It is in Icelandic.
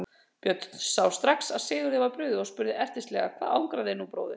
Björn sá strax að Sigurði var brugðið og spurði ertnislega:-Hvað angrar þig nú bróðir?